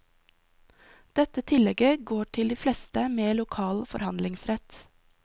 Dette tillegget går til de fleste med lokal forhandlingsrett.